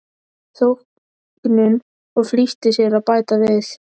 þóknun og flýtti sér að bæta við